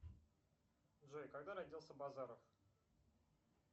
джой когда родился базаров